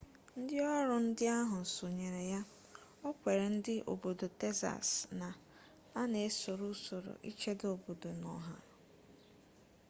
ndị ọrụ ndị ahụ sonyere ya o kwere ndị obodo texas na a na-esoro usoro ichedo obodo na ọha